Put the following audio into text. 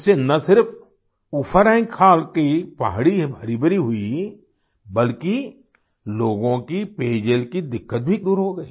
इससे न सिर्फ उफरैंखाल की पहाड़ी हरीभरी हुई बल्कि लोगों की पेयजल की दिक्कत भी दूर हो गई